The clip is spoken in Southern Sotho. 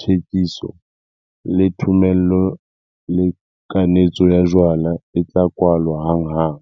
thekiso, le thomello le kanetso ya jwala e tla kwalwa hanghang.